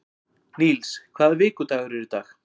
Níls, hvaða vikudagur er í dag?